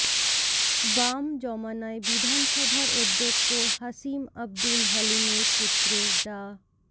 বাম জমানায় বিধানসভার অধ্যক্ষ হাসিম আবদুল হালিমের পুত্র ডা